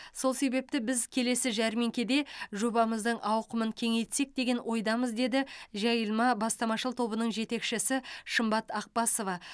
сол себепті біз келесі жәрмеңкеде жобамыздың ауқымын кеңейтсек деген ойдамыз деді жайылма бастамашыл тобының жетекшісі шымбат ақбасова